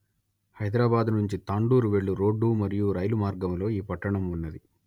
హైదరాబాదు నుంచి తాండూర్ వెళ్ళు రోడ్డు మరియు రైలు మార్గములో ఈ పట్టణం ఉంది